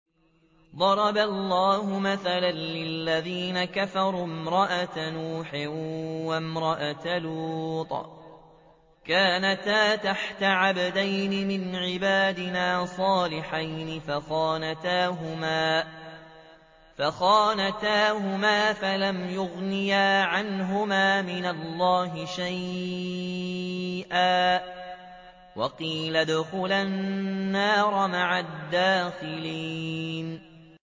ضَرَبَ اللَّهُ مَثَلًا لِّلَّذِينَ كَفَرُوا امْرَأَتَ نُوحٍ وَامْرَأَتَ لُوطٍ ۖ كَانَتَا تَحْتَ عَبْدَيْنِ مِنْ عِبَادِنَا صَالِحَيْنِ فَخَانَتَاهُمَا فَلَمْ يُغْنِيَا عَنْهُمَا مِنَ اللَّهِ شَيْئًا وَقِيلَ ادْخُلَا النَّارَ مَعَ الدَّاخِلِينَ